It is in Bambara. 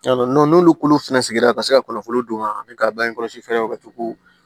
n'olu fɛnɛ sigira ka se ka kɔnfolo d'u ma an bɛ ka bange kɔlɔsi fɛɛrɛw ka to ko